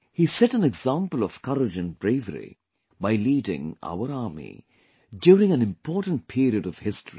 He set an example of courage and bravery by leading our army during an important period of history